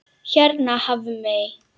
Hérna Hafmey.